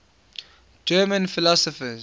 german philosophers